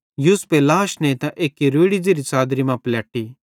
यूसुफे लाश नेइतां एक्की रोड़ि ज़ेरि च़ादरी मां पलैटी